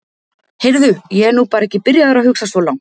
Heyrðu, ég er nú bara ekki byrjaður að hugsa svo langt.